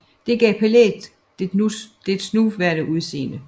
Det gav palæet dets nuværende udseende